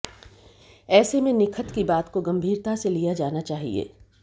ऐसे में निखत की बात को गंभीरता से लिया जाना चाहिए